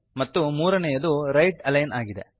ಮತ್ತು ಮೂರನೆಯದು right align ಆಗಿದೆ